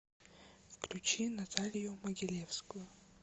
включи наталью могилевскую